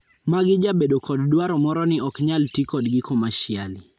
Magi jabedo kod dwaro moro ni oknyal tii kodgi commercially.